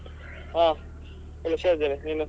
ಹ ಹುಷಾರಿದ್ದೇನೆ, ನೀನು?